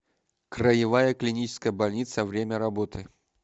краевая клиническая больница время работы